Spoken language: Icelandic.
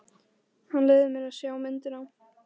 Hann leyfði mér að sjá myndina.